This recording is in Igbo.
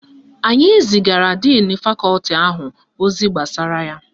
Anyi zigara díìnu Fakọti ahụ ozi gbasara ya.